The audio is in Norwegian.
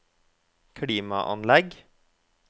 klimaanlegg